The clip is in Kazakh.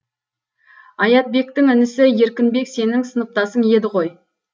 аятбектің інісі еркінбек сенің сыныптасың еді ғой